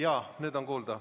Jaa, nüüd on kuulda.